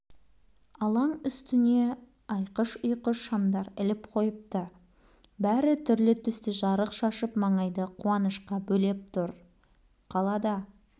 алаң үстіне айқыш-ұйқыш шамдар іліп қойыпты бәрі түрлі түсті жарық шашып маңайды қуанышқа бөлеп тұр қалада